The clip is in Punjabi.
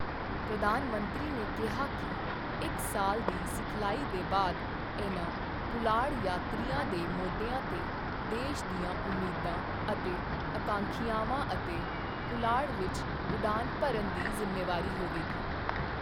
ਪ੍ਰਧਾਨ ਮੰਤਰੀ ਨੇ ਕਿਹਾ ਕਿ ਇੱਕ ਸਾਲ ਦੀ ਸਿਖਲਾਈ ਦੇ ਬਾਅਦ, ਇਨ੍ਹਾਂ ਪੁਲਾੜ ਯਾਤਰੀਆਂ ਦੇ ਮੋਢਿਆਂ ਤੇ ਦੇਸ਼ ਦੀਆਂ ਉਮੀਦਾਂ ਅਤੇ ਅਕਾਂਖਿਆਵਾਂ ਅਤੇ ਪੁਲਾੜ ਵਿੱਚ ਉਡਾਨ ਭਰਨ ਦੀ ਜ਼ਿੰਮੇਵਾਰੀ ਹੋਵੇਗੀ।